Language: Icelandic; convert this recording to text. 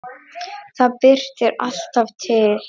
Það birtir alltaf til.